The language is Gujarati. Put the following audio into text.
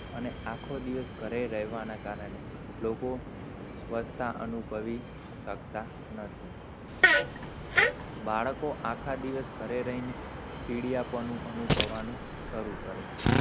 અને આખો દિવષ ઘરે રહવાના કારણે, લોકો સ્વસ્થ અનુભવી શકતા નથી, બાળકો આકાશ દિવષ ઘરે રઈને ચીડપણું અનુભવાનું સરુ કરે છે?